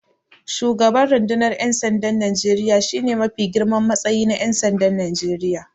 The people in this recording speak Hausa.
Shugaban rundunar ƴansandan Najeriya shine mafi girman matsayi na Ɗansandan Najeriya.